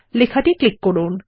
লেখাটি ক্লিক করুন